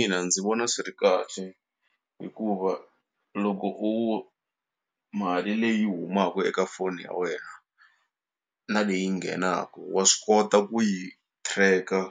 ina, ndzi vona swi ri kahle hikuva loko u mali leyi humaku eka foni ya wena na leyi nghenaku wa swi kota ku yi tracker